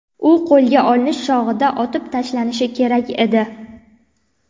U qo‘lga olinish chog‘ida otib tashlanishi kerak edi.